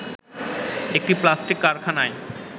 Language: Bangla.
একটি প্লাস্টিক কারখানায়